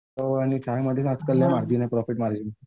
पाव आणि चायमधेच आकल प्रॉफिट आहे प्रॉफिट मार्जिन.